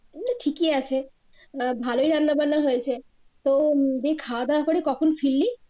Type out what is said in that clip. তাহলে ঠিকই আছে আহ ভালোই রান্নারান্না হয়েছে তো খাওয়া দাওয়া করে কখন ফিরলি?